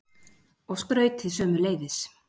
Og skrautið sömuleiðis.